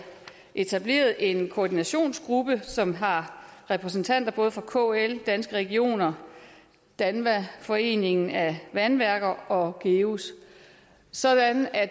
etableret en koordinationsgruppe som har repræsentanter både fra kl danske regioner danva foreningen af vandværker og geus sådan at